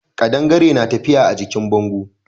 Kadangare na tafiya a jikin bango.